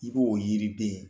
I b'o yiriden